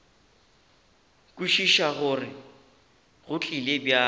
kwešiša gore go tlile bjang